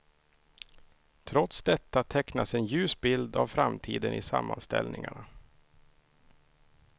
Trots detta tecknas en ljus bild av framtiden i sammanställningarna.